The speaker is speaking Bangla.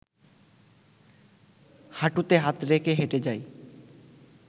হাঁটুতে হাত রেখে হেঁটে যাই